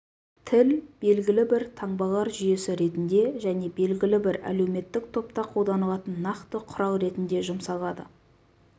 тіл белгілі бір таңбалар жүйесі ретінде және белгілі бір әлеуметтік топта қолданылатын нақты құрал ретінде жұмсалады